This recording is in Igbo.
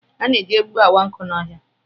A na-eji egbugbu awa nkụ n'ọhịa